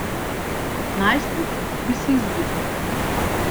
Kot najstnik bi se izgubil.